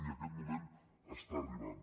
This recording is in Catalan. i aquest moment està arribant